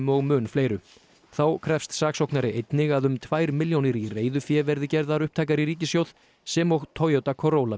og mun fleiru þá krefst saksóknari einnig að um tvær milljónir í reiðufé verði gerðar upptækar sem og Toyota